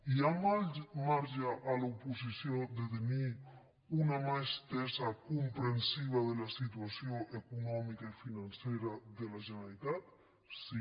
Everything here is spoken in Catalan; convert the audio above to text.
hi ha marge a l’oposició de tenir una mà estesa comprensiva de la situació econòmica i financera de la generalitat sí